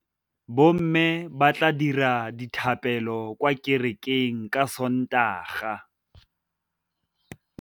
Bommê ba tla dira dithapêlô kwa kerekeng ka Sontaga.